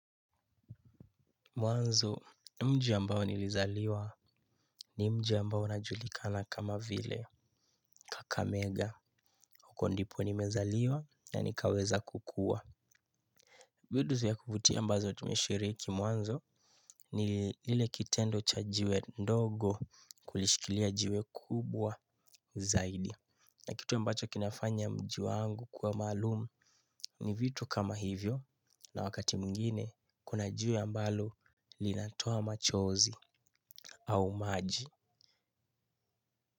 Mwanzo mji ambao nilizaliwa ni mji ambao najulikana kama vile, akamega huko ndipo nimezaliwa na nikaweza kukua. Vitu vya kuvutia ambazo tumeshiriki, mwanzo ni lile kitendo cha jiwe ndogo kulishikilia jiwe kubwa zaidi na kitu mbacho kinafanya mji wangu kuwa maalum ni vitu kama hivyo na wakati mwingine kuna jiwe ambalo linatoa machozi au maji.